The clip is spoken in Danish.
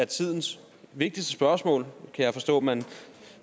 tidens vigtigste spørgsmål kan jeg forstå man